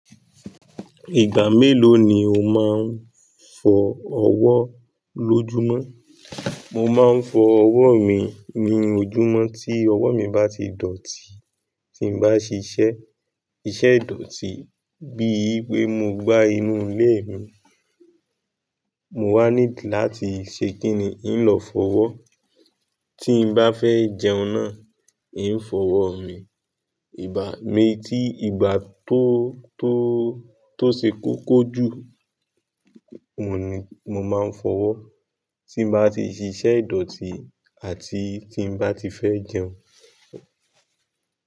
Ìgbà mélòó ni o máa ń fọ ọwọ́ lójúmọ́? Mo máa ń fọ ọwọ́ mi ní ojúmọ́ tí ọwọ́ mi bá ti dọ̀tí tí n bá ṣiṣẹ́, iṣẹ́ idọ̀tí bíi pé mo gbá inú ilé mi, mo wá need láti ṣe kìní, n lọ fọwọ́. Tí n bá fẹ́ jẹun náà, n fọwọ́ mi. Ìgbà mi, tí ìgbà tó, tó, tó ṣe kó kó jù, òun ni, mo máa ń fọwọ́ tí n bá ti ṣiṣẹ́ idọ̀tí àti tí n bá ti fẹ́ jẹun.